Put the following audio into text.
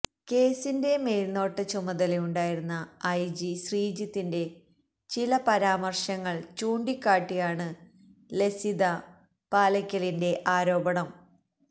കേസിന്റെ മേൽനോട്ട ചുമതലയുണ്ടായിരുന്ന ഐജി ശ്രീജിത്തിന്റെ ചില പരാമർശങ്ങൾ ചൂണ്ടിക്കാട്ടിയാണ് ലസിത പാലക്കലിന്റെ ആരോപണം